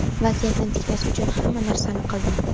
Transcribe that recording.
vaziyatni tiklash uchun hamma narsani qildim.